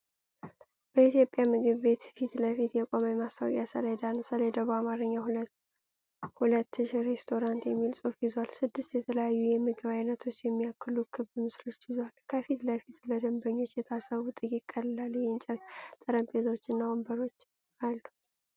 በኢትዮጵያ ምግብ ቤት ፊት ለፊት የቆመ የማስታወቂያ ሰሌዳ ነው። ሰሌዳው በአማርኛ “2000 ሬስቶራንት” የሚል ጽሑፍ ይዟል፣ ስድስት የተለያዩ የምግብ አይነቶችን የሚያሳዩ ክብ ምስሎችን ይዟል። ከፊት ለፊት ለደንበኞች የታሰቡ ጥቂት ቀላል የእንጨት ጠረጴዛዎች እና ወንበሮች አሉ።